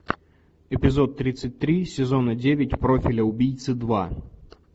эпизод тридцать три сезона девять профиля убийцы два